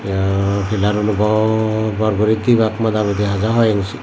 yaa pilar uno bor bor guri dibak moda mudi haja hoi engsi.